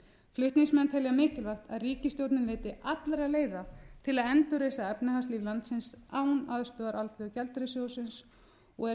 flutningsmenn telja mikilvægt að ríkisstjórnin leiti allra leiða til að endurreisa efnahagslíf landsins án aðstoðar alþjóðagjaldeyrissjóðsins og er